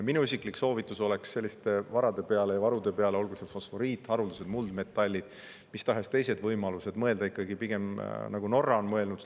Minu isiklik soovitus oleks selliste varade ja varude puhul, olgu tegu fosforiidi, haruldaste muldmetallide või mis tahes teiste võimalustega, mõelda ikkagi pigem nii, nagu Norra on mõelnud.